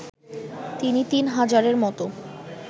তিনি তিন হাজারের মতো